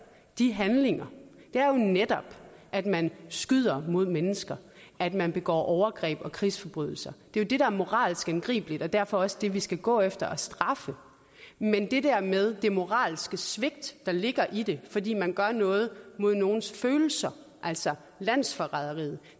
de handlinger det er netop at man skyder mod mennesker at man begår overgreb og krigsforbrydelser det er det der er moralsk angribeligt og derfor også det vi skal gå efter og straffe men det der med det moralske svigt der ligger i det fordi man gør noget mod nogens følelser altså landsforræderiet